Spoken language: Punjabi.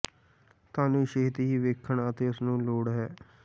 ਤੁਹਾਨੂੰ ਛੇਤੀ ਹੀ ਵੇਖਣ ਅਤੇ ਉਸ ਨੂੰ ਲੋੜ ਨਹੀ ਹੈ